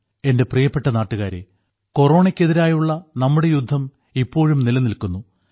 എന്റെ പ്രിയപ്പെട്ട നാട്ടുകാരേ കൊറോണയ്ക്കെതിരായി നമ്മുടെ യുദ്ധം ഇപ്പോഴും നിലനിൽക്കുന്നു